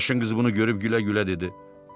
Qaraşın qız bunu görüb gülə-gülə dedi.